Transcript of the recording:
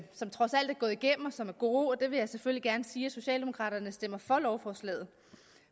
som trods alt er gået igennem og som er gode der vil jeg selvfølgelig gerne sige at socialdemokraterne stemmer for lovforslaget